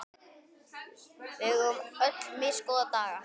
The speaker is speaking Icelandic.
Við eigum öll misgóða daga.